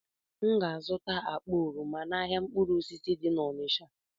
M ga-azụta akpa oroma n'ahịa mkpụrụ osisi dị na Onịcha.